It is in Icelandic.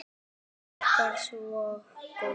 Bjarki var svo góður.